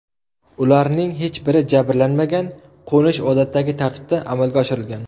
Ularning hech biri jabrlanmagan, qo‘nish odatdagi tartibda amalga oshirilgan.